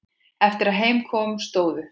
Eftir að heim kom stóðu